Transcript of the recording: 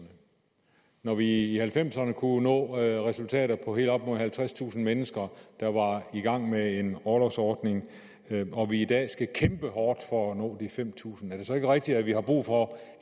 når vi i nitten halvfemserne kunne nå resultater på helt op mod halvtredstusind mennesker der var i gang med en orlovsordning og vi i dag skal kæmpe hårdt for at nå de fem tusind er det så ikke rigtigt at vi har brug for